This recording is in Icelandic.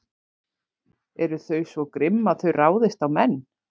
Eru þau svo grimm að þau ráðist á menn?